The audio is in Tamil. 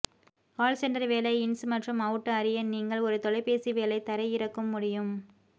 கால் சென்டர் வேலை இன்ஸ் மற்றும் அவுட் அறிய நீங்கள் ஒரு தொலைபேசி வேலை தரையிறக்கும் முடியும்